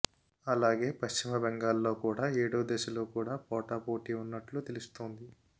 అలాగే పశ్చిమ బెంగాల్లో కూడా ఏడో దశలో కూడా పోటాపోటీ ఉన్నట్లు తెలుస్తోంది